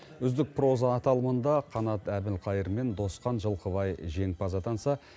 үздік проза аталымында қанат әбілқайыр мен досхан жылқыбай жеңімпаз атанса